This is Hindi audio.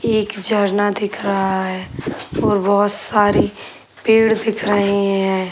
एक झरना दिख रहा है और बहुत सारी पेड़ दिख रहे हैं |